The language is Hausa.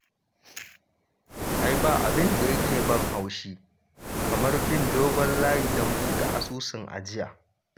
Ai ba abin da yake ban haushi kamar bin dogon layi don buɗe asusun ajiya